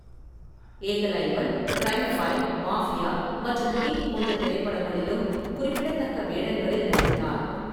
Ekalaivan, Crime File, Mafia மற்றும் King போன்ற திரைப்படங்களிலும் குறிப்பிடத்தக்க வேடங்களில் நடித்தார்.